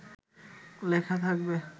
লেখা থাকবে